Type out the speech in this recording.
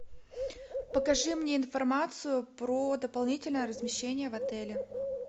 покажи мне информацию про дополнительное размещение в отеле